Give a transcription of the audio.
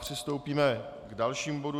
Přistoupíme k dalšímu bodu.